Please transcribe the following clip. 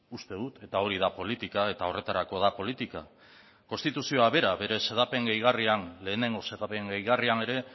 uste dut eta hori da politika eta horretarako da politika konstituzioak bera bere xedapen gehigarrian lehenengo xedapen gehigarrian ere